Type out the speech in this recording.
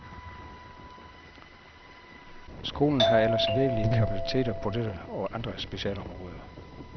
Skolen har ellers virkelige kapaciteter på dette og andre specialområder.